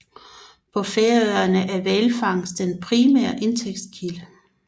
På Færøerne er hvalfangst den primære indtægtskilde